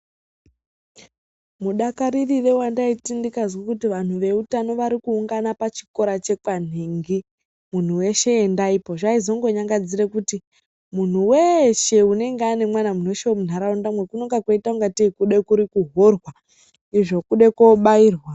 Mudakarire wandaita ndikazwe kuti vantu veutano varikuungana pachikora chekwanhingi .Munhu weshe endaipo .Zvaizongonyangadzire kuti muntu weshe anenge anemwana munhu weshe wemunharaundamwo koite ngatei kurikuhorwa izvo kude kobairwa.